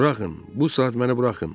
Buraxın, bu saat məni buraxın.